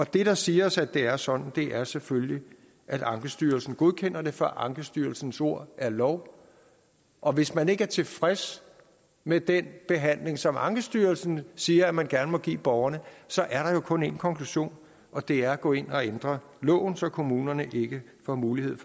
det der siger os at det er sådan er selvfølgelig at ankestyrelsen godkender det for ankestyrelsens ord er lov og hvis man ikke er tilfreds med den behandling som ankestyrelsen siger man gerne må give borgerne så er der jo kun én konklusion og det er at gå ind og ændre loven så kommunerne ikke får mulighed